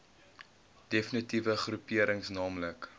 defnitiewe groeperings naamlik